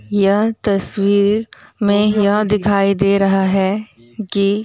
यह तस्वीर में यह दिखायी दे रहा है कि --